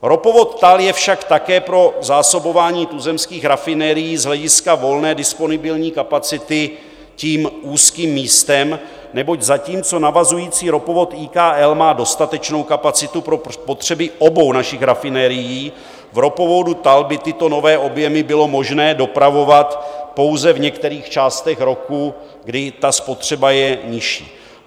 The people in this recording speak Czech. Ropovod TAL je však také pro zásobování tuzemských rafinerií z hlediska volné disponibilní kapacity tím úzkým místem, neboť zatímco navazující ropovod IKL má dostatečnou kapacitu pro potřeby obou našich rafinerií, v ropovodu TAL by tyto nové objemy bylo možné dopravovat pouze v některých částech roku, kdy ta spotřeba je nižší.